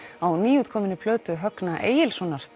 á nýútkominni plötu Högna Egilssonar